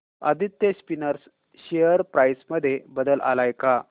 Aditya Spinners share price मध्ये बदल आलाय का